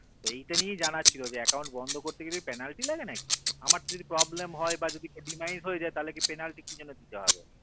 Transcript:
এইটা নিয়েই জানার ছিল যে account বন্ধ করতে গেলে penalty লাগে নাকি আমার যদি problem হয় বা যদি demised হয় তাতে কি penalty কি জন্য দিতে হবে?